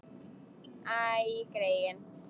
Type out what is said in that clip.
Æ, greyin.